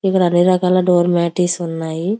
ఇక్కడ అన్ని రకాల డోర్ మాట్స్ ఉన్నాయి.